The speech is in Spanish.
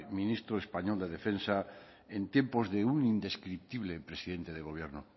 ministro español de defensa en tiempos de un indescriptible presidente de gobierno